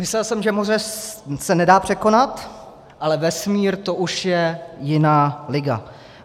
Myslel jsem, že moře se nedá překonat, ale vesmír, to už je jiná liga.